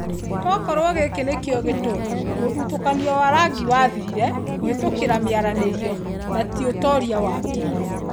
Tokorwo gĩkĩ nĩkĩo gĩtumi mũthutukanio wa rangi wathirire kũhĩtũkĩra mĩaranĩrio na ti ũtoria wa mbirarũ.